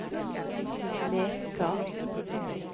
Leka